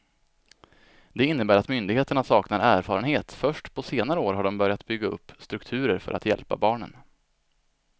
Det innebär att myndigheterna saknar erfarenhet, först på senare år har de börjat bygga upp strukturer för att hjälpa barnen.